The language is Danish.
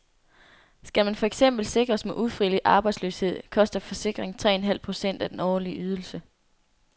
Skal man for eksempel sikres mod ufrivillig arbejdsløshed, koster forsikringen tre en halv procent af den årlige ydelse.